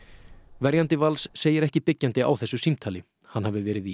verjandi Vals segir ekki byggjandi á þessu símtali hann hafi verið í